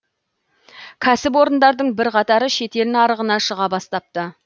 кәсіпорындардың бірқатары шетел нарығына шыға бастапты